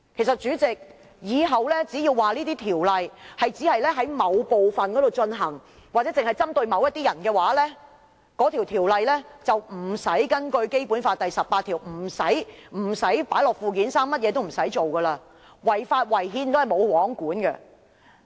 主席，是否日後只要說某條例只在某範圍實施或只針對某些人，便不用根據《基本法》第十八條，將全國性法律列入附件三，甚麼也不用做，即使違法、違憲，也是"無皇管"。